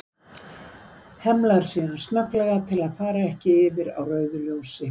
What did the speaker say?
Hemlar síðan snögglega til að fara ekki yfir á rauðu ljósi.